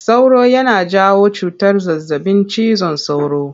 Sauro yana janyo cutar zazzaɓin cizon sauro.